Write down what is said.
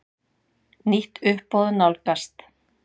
Nýtt uppboð nálgast.